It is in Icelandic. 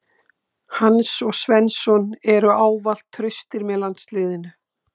Hann og Svensson eru ávallt traustir með landsliðinu.